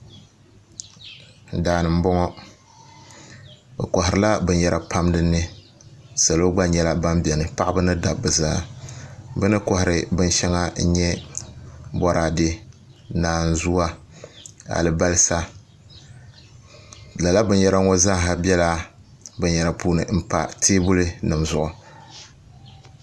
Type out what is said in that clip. Daani n boŋo bi koharila binyɛra pam dinni salo gba nyɛla ban biɛni paɣaba ni dabba zaa bi ni kohari binshɛŋa n nyɛ Boraadɛ naanzuwa alibarisa lala binyɛra ŋo zaaha biɛla binyɛra puuni n pa teebuli nim zuɣu